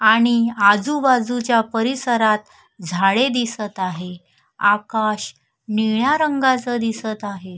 आणि आजूबाजूच्या परिसरात झाडे दिसत आहे आकाश निळ्या रंगाच दिसत आहे.